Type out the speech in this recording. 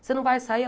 Você não vai sair.